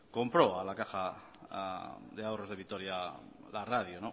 compró a la caja de ahorros de vitoria la radio